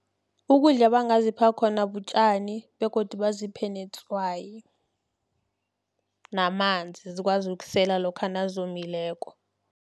Ukudla abangazipha khona butjani, begodu baziphe netswayi, namanzi zikwazi ukusela lokha nazomileko.